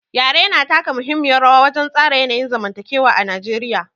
Yare yana taka muhimmiyar rawa wajen tsara yanayin zamantakewa a Najeriya.